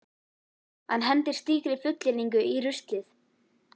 Hann hendir slíkri fullyrðingu í ruslið.